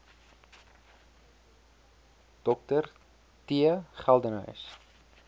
dr t geldenhuys